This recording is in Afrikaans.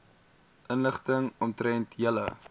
inligting omtrent julle